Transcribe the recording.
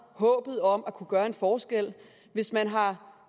håbet om at kunne gøre en forskel hvis man har